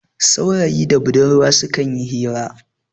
saurayi da budurwa sukan yi hira